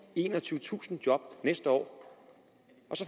enogtyvetusind job næste år